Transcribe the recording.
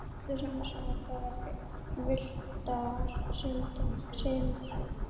Grátur hans var bara villtar hrinur.